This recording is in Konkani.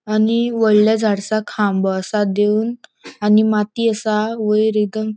आणि वोडले झाड असा खाम्बो असा दिवून आणि माती असा वयर --